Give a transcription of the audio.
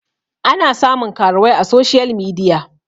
ana samun karuwai a soshiyal midia